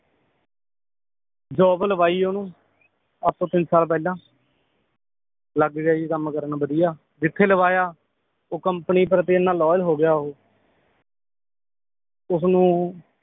job ਲਵਾਈ ਓਹਨੂੰ ਅੱਜ ਤੋਂ ਤਿੰਨ ਸਾਲ ਪਹਿਲਾਂ ਲਗ ਗਿਆ ਜੀ ਕੰਮ ਕਰਨ ਬਧਿਆ ਜਿਥੇ ਲਵਾਇਆ ਉਹ ਕਮ੍ਪਨੀ ਪ੍ਰਤੀ ਇਹਨਾਂ loyal ਹੋਗਿਆ ਉਹ ਓਹਨੂੰ